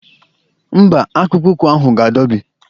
Mba, akpụkpọ ụkwụ ahụ ga-adọbi.